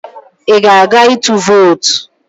Ị ga-aga ịtụ vootu?